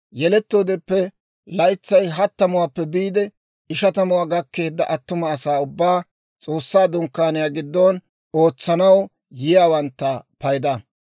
yelettoodeppe laytsay hattamuwaappe biide ishatamuwaa gakkeedda attuma asaa ubbaa, S'oossaa Dunkkaaniyaa giddon ootsanaw yiyaawantta payda.